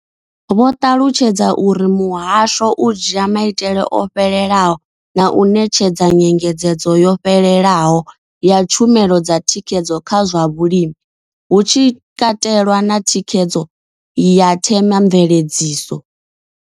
Vho ṱalutshedza uri muhasho u dzhia maitele o fhelelaho na u ṋetshedza nyengedzedzo yo fhelelaho ya tshumelo dza thikhedzo kha zwa vhulimi, hu tshi katelwa na thikhedzo ya themamveledziso.